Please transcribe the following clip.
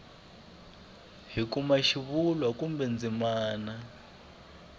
hi kuma xivulwa kumbe ndzimana